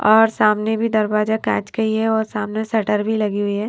ओर सामने भी दरवाजा कांच का ही है ओर सामने शटर भी लगी हुई है ।